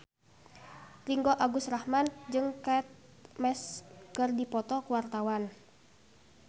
Ringgo Agus Rahman jeung Kate Moss keur dipoto ku wartawan